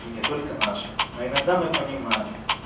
и не только наша но иногда мы понимаем